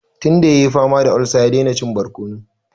Tun da ya yi fama da olsa, ya daina cin barkono.